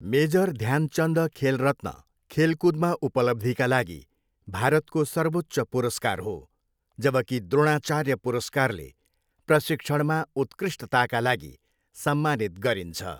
Major Dhyan Chand Khel Ratna खेलकुदमा उपलब्धिका लागि भारतको सर्वोच्च पुरस्कार हो, जबकि द्रोणाचार्य पुरस्कारले प्रशिक्षणमा उत्कृष्टताका लागि सम्मानित गरिन्छ।